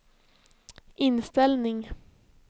inställning